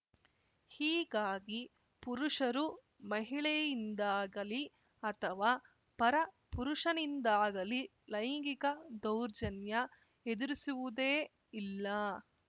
ಹೀಗಾಗಿ ಪುರುಷರು ಮಹಿಳೆಯಿಂದಾಗಲಿ ಅಥವಾ ಪರ ಪುರುಷನಿಂದಾಗಲಿ ಲೈಂಗಿಕ ದೌರ್ಜನ್ಯ ಎದುರಿಸುವುದೇ ಇಲ್ಲ